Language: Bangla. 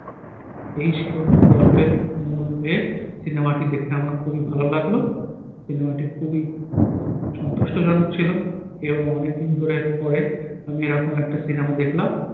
এই ছিল গল্পের মূল এ। সিনেমাটি দেখে আমার খুবই ভালো লাগলো। সিনেমাটি খুবই আহ সন্তুষ্ট জনক ছিল এবং অনেকদিন ধরে পড়ে আমি এরকম একটা সিনেমা দেখলাম।